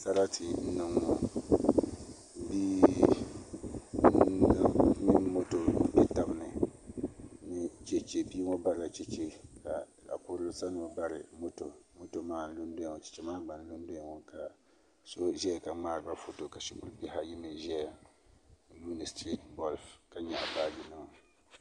Sarati n niŋ ŋo bia mini moto n kpɛ tabi ni ni chɛchɛ bia ŋo barila chɛchɛ ka zaɣ kurili sani ŋo bari moto moto maa n lu n doya ŋo chɛchɛ maa gba n lu n doya ŋo ka so ʒɛya ka ŋmaariba foto ka shikuru bihi ka ayi ʒɛya n lihiri bolb ka nyaɣa baaji nima